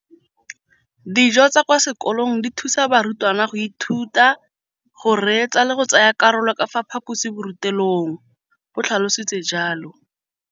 Dijo tsa kwa sekolong dithusa barutwana go ithuta, go reetsa le go tsaya karolo ka fa phaposiborutelong, o tlhalositse jalo.